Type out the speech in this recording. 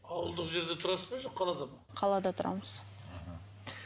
ауылдық жерде тұрасыз ба жоқ қалада ма қалада тұрамыз мхм